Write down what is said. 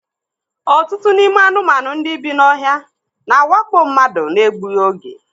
Ọtụtụ n'ime anụmanụ ndị bi n'ohia na-awakpo mmadụ na-egbughi oge.